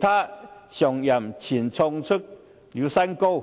他上任前創出新高。